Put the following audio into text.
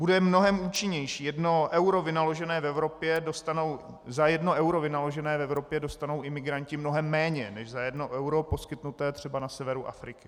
Bude mnohem účinnější - za jedno euro vynaložené v Evropě dostanou imigranti mnohem méně než za jedno euro poskytnuté třeba na severu Afriky.